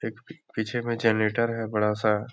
एक पीछे में जनरेटर है बड़ा-सा।